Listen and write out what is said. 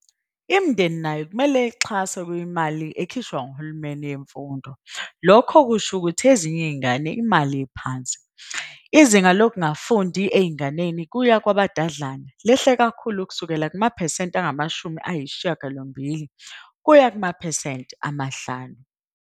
Imindeni nayo kumele ixhase kwimali ekhishwa nguhulumeni yemfundo, lokhu okusho ukuthi ezinye izingane imali ephansi. Izinga lokungafundi ezinganeni ukuya kwabadadlana lehle kakhulu ukusukela kumaphesenti angu 80 ukuya kumaphesenti amahlanu.